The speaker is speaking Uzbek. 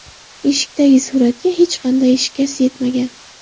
Eshikdagi suratga hech qanday shikast yetmagan.